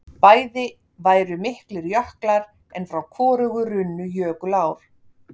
Bæði væru miklir jöklar en frá hvorugu runnu jökulár.